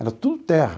Era tudo terra.